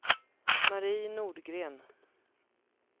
Mari Nordgren